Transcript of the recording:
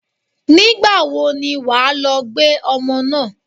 Nígbà wo ni wà á lọ gbé ọmọ náà?